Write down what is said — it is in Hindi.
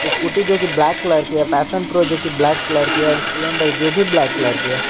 स्कूटी जो कि ब्लैक कलर की है पैशन प्रो जोकि ब्लैक कलर के है और स्प्लेंडर जो भी ब्लैक कलर के है।